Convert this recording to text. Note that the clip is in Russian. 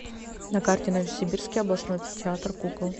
на карте новосибирский областной театр кукол